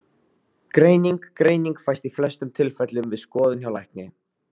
Greining Greining fæst í flestum tilfellum við skoðun hjá lækni.